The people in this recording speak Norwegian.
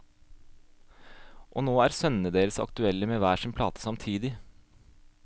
Og nå er sønnene deres aktuelle med hver sin plate samtidig.